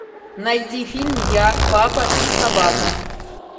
найди фильм я папа и собака